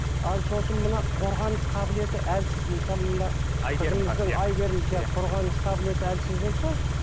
ал сосын мына қорғаныс қабылеті әлсіз мысалы мына әйгерім сияқты қорғаныс қабілеті әлсіз болса